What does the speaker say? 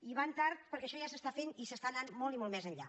i van tard perquè això ja s’està fent i s’està anant molt i molt més enllà